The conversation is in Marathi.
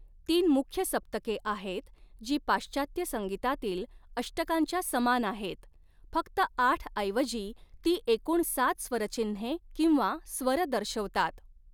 तीन मुख्य 'सप्तके' आहेत, जी पाश्चात्य संगीतातील 'अष्टकां'च्या समान आहेत, फक्त आठऐवजी ती एकूण सात स्वरचिन्हे किंवा 'स्वर' दर्शवतात.